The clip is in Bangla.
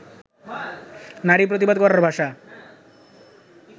নারী প্রতিবাদ করার ভাষা